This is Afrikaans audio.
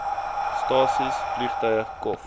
stasies vliegtuie kof